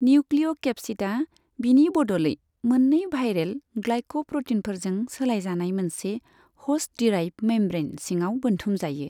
निउक्लिय'केप्सिडआ, बिनि बदलै मोननै भाइरेल ग्लाइक'प्र'टीनफोरजों सोलायजानाय मोनसे ह'स्ट दिराइभ्द मेमब्रैन सिङाव बोनथुमजायो।